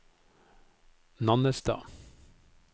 Nannestad